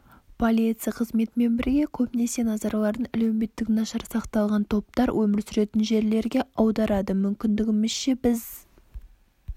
полиция қызметімен бірге көбінесе назарларын әлеуметтік нашар сақталған топтар өмір сүретін жерлерге аударады мүмкіндігімізше біз